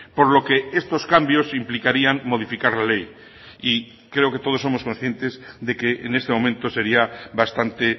por lo que estos cambios implicarían modificar la ley y creo que todos somos conscientes de que en este momento sería bastante